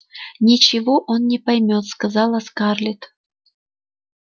ничего он не поймёт сказала скарлетт